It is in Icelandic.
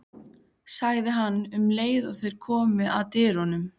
sagði hann um leið og þeir komu að dyrunum.